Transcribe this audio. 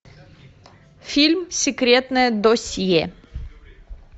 фильм секретное досье